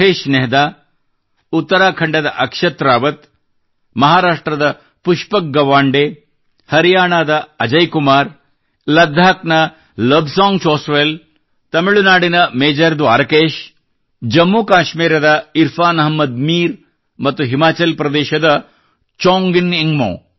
ಮಹೇಶ್ ನೆಹೆರಾ ಉತ್ತರಾಖಂಡದ ಅಕ್ಷತ್ ರಾವತ್ ಮಹಾರಾಷ್ಟ್ರದ ಪುಷ್ಪಕ್ ಗವಾಂಡೆ ಹರಿಯಾಣಾದ ಅಜಯ್ ಕುಮಾರ್ ಲಡಾಕ್ ನ ಲೋಬ್ಸಾಂಗ್ ಚೋಸ್ಪೇಲ್ ತಮಿಳುನಾಡಿನ ಮೇಜರ್ ದ್ವಾರಕೇಷ್ ಜಮ್ಮು ಕಾಶ್ಮೀರದ ಇರ್ಫಾನ್ ಅಹ್ಮದ್ ಮೀರ್ ಮತ್ತು ಹಿಮಾಚಲ್ ದೇಶದ ಚೋಂಜಿನ್ ಎಂಗ್ಮೋ